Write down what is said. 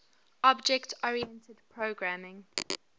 object oriented programming